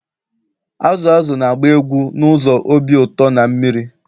Azụ azụ na-agba egwu n'ụzọ obi ụtọ na mmiri